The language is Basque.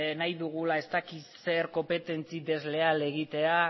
nahi dugula ez dakit zer konpetentzi desleal egitea